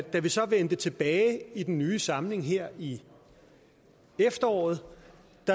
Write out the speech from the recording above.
vi så vendte tilbage i den nye samling her i efteråret